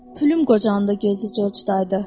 Pülüm qocandı, gözü Corcdaydı.